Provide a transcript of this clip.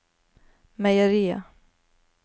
meieriet